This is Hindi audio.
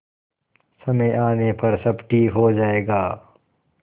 समय आने पर सब ठीक हो जाएगा